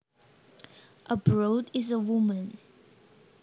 A broad is a woman